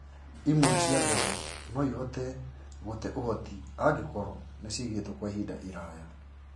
Imwe cia mbegũ noĩhote gũte ũhoti angĩkorwo nĩcigĩtwo Kwa ihinda iraya